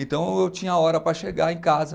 Então, eu tinha hora para chegar em casa.